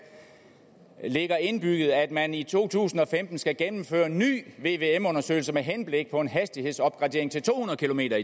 ligger indbygget at man i to tusind og femten skal gennemføre en ny vvm undersøgelse med henblik på en hastighedsopgradering til to hundrede kilometer